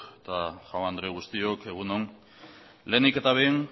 eta jaun andre guztiok egun on lehenik eta behin